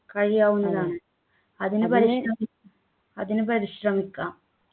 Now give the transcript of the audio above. കഴിയാവുന്നതാണ് അതിനു പരിശ്ര അതിനു പരിശ്രമിക്കാം